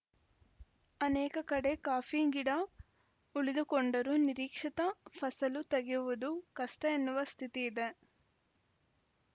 ಅನೇಕ ಕಡೆ ಕಾಫಿ ಗಿಡ ಉಳಿದುಕೊಂಡರೂ ನಿರೀಕ್ಷಿತ ಫಸಲು ತೆಗೆಯುವುದು ಕಷ್ಟಎನ್ನುವ ಸ್ಥಿತಿ ಇದೆ